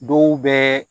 Dɔw bɛ